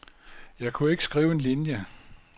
Jeg kunne ikke skrive en linie.